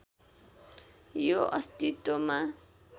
यो अस्तित्वमा